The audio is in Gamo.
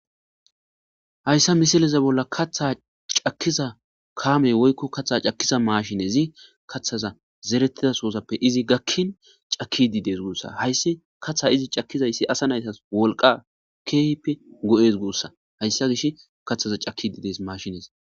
Hayssa misileze bolla kaththa cakkiza kaamey woykko katha cakiza maashinezi kathaza zerettidasoosappe izi gakkin caki dides guussa hayssi katha izi cakkizayssi asa naytas wolqa keehipe go7es guussa hayssa gish kathaza caki dides mashines